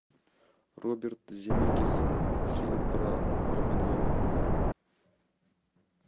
роберт земекис фильм про робинзона